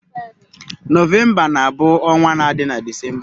Nọvemba na-bụ ọnwa na-adi na Disemba.